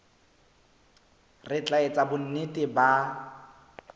re tla etsa bonnete ba